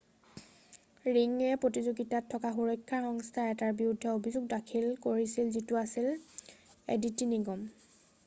ৰিংয়ে প্ৰতিযোগিতাত থকা সুৰক্ষা সংস্থা এটাৰ বিৰুদ্ধে অভিযোগ দাখিল কৰিছিল যিটো আছিল এডিটি নিগম